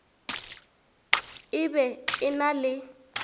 e be e na le